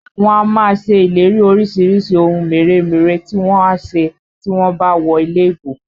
Wọ́n á máa ṣe ìlérí orísìírísìí ohun mèremère tí wọ́n á ṣe tí wọ́n bá wọlé ìbò